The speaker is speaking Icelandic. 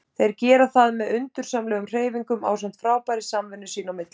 Þeir gera það með undursamlegum hreyfingum ásamt frábærri samvinnu sín á milli.